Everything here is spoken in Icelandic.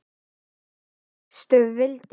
Hvar fékkstu vindil?